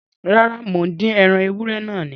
Rárá, mò ń dín ẹran ewúrẹ́ náà ni